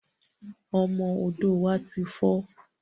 Ọmọ odò wá ti fọ̀